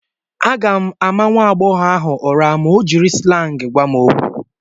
M ga-ama nwa agbọghọ ahụ ụra ma o jiri slangị gwa m okwu.